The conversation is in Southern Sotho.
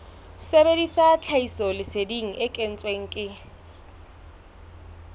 sebedisa tlhahisoleseding e kentsweng ke